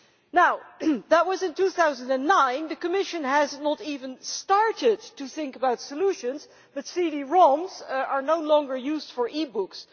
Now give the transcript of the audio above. Now that was in 2009 the Commission has not even started to think about solutions but CD Roms are no longer used for e books.